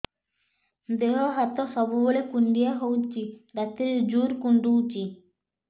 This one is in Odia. ଦେହ ହାତ ସବୁବେଳେ କୁଣ୍ଡିଆ ହଉଚି ରାତିରେ ଜୁର୍ କୁଣ୍ଡଉଚି